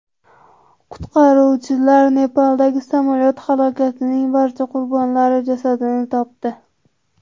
Qutqaruvchilar Nepaldagi samolyot halokatining barcha qurbonlari jasadini topdi.